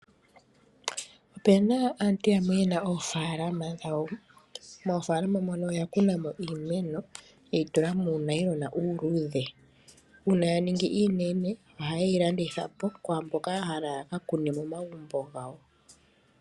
Ope na aantu yamwe yena oofalama dhawo. Moofalama mono oya kuna mo iimeno, ye yi tula muunayilona uuludhe. Uuna ya ningi iinene, ohaye yi landitha po kwaamboka ya hala ya ka kune momagumbo gawo.